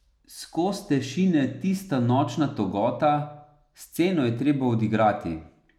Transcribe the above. Skozte šine tista nočna togota, sceno je treba odigrati.